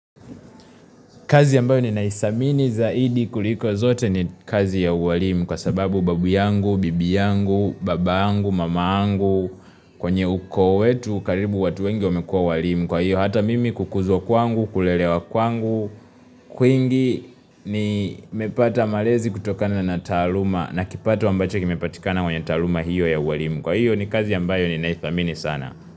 Kazi ambayo ninaithamini zaidi kuliko zote ni kazi ya uwalimu kwa sababu babu yangu, bibi yangu, baba yangu, mama yangu, kwenye uko wetu, karibu watu wengi wamekua walimu. Kwa hiyo hata mimi kukuzwa kwangu, kulelewa kwangu, kwingi ni mepata malezi kutokana na taaluma na kipato ambacho kimepatikana kwenye taaluma hiyo ya uwalimu. Kwa hiyo ni kazi yambayo ni naisamini sana.